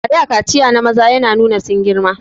A da kaciya na maza yana nuna sun girma